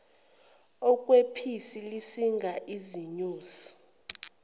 okwephisi lisinga izinyosi